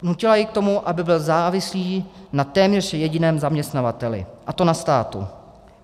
Nutila jej k tomu, aby byl závislý na téměř jediném zaměstnavateli, a to na státu.